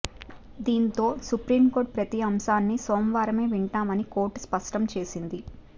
దీంతో సుప్రీంకోర్టు ప్రతి అంశాన్ని సోమవారమే వింటామని కోర్టు స్పష్టం చేసింది